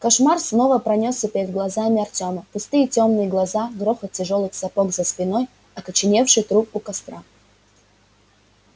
кошмар снова пронёсся перед глазами артема пустые тёмные глаза грохот тяжёлых сапог за спиной окоченевший труп у костра